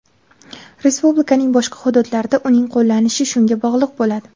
Respublikaning boshqa hududlarida uning qo‘llanilishi shunga bog‘liq bo‘ladi.